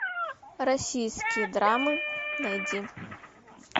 российские драмы найди